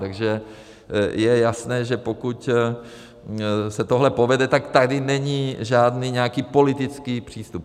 Takže je jasné, že pokud se tohle povede, tak tady není žádný nějaký politický přístup.